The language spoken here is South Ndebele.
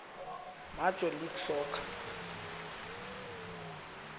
major league soccer